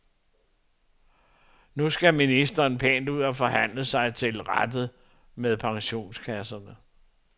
Nu skal ministeren pænt ud og forhandle sig til rette med pensionskasserne.